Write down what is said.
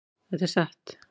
Þetta er satt.